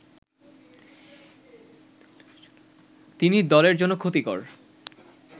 তিনি দলের জন্য ক্ষতিকর